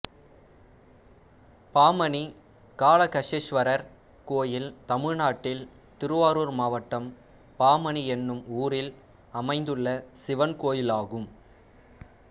பாமணி காளகஷ்ஷ்வரர் கோயில் தமிழ்நாட்டில் திருவாரூர் மாவட்டம் பாமணி என்னும் ஊரில் அமைந்துள்ள சிவன் கோயிலாகும்